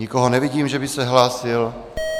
Nikoho nevidím, že by se hlásil.